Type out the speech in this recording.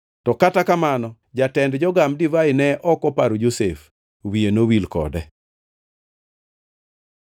To kata kamano jatend jogam divai ne ok oparo Josef; wiye nowil kode.